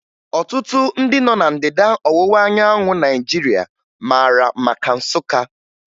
Ọtụtụ ndị nọ ná Ndịda Ọwụwa anyanwụ Naijiria mara maka Nsụka